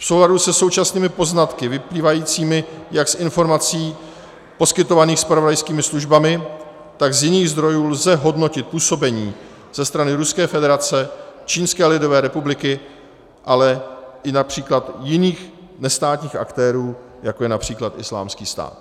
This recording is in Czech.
V souladu se současnými poznatky vyplývajícími jak z informací poskytovaných zpravodajskými službami, tak z jiných zdrojů lze hodnotit působení ze strany Ruské federace, Čínské lidové republiky, ale i například jiných, nestátních aktérů, jako je například Islámský stát.